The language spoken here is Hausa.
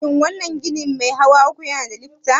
Shin wannan ginin mai hawa uku yana da lifta?